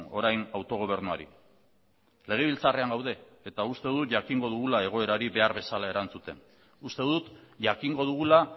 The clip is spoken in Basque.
orain autogobernuari legebiltzarrean gaude eta uste dut jakingo dugula egoerari behar bezala erantzuten uste dut jakingo dugula